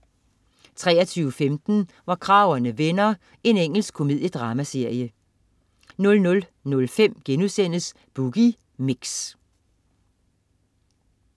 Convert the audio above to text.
23.15 Hvor kragerne vender. Engelsk komediedramaserie 00.05 Boogie Mix*